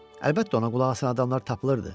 Əlbəttə ona qulaq asan adamlar tapılırdı.